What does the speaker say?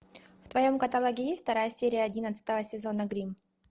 в твоем каталоге есть вторая серия одиннадцатого сезона гримм